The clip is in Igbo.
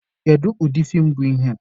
Kedu ụdị feem bụ ihe a?